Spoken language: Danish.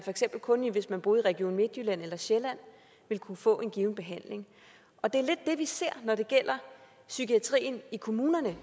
kun hvis man boede i region midtjylland eller sjælland ville kunne få en given behandling og det er lidt det vi ser når det gælder psykiatrien i kommunerne